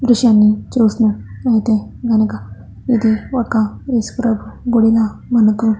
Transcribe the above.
దృశ్యాన్ని చూస్తున్నట్లయితే కనుక ఇది ఒక ఇసుకతో కూడిన మనకు --